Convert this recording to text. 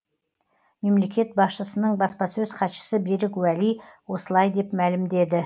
мемлекет басшысының баспасөз хатшысы берік уәли осылай деп мәлімдеді